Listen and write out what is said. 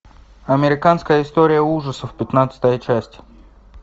американская история ужасов пятнадцатая часть